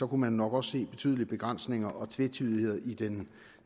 man nok også se betydelige begrænsninger og tvetydigheder i den